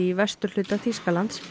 vesturhluta Þýskalands